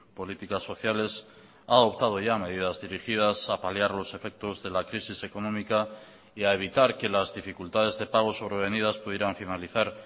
políticas sociales ha adoptado ya medidas dirigidas a paliar los efectos de la crisis económica y a evitar que las dificultades de pago sobrevenidas pudieran finalizar